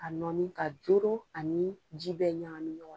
Ka nɔɔni ka doro ani ji bɛɛ ɲagami ɲɔgɔn na.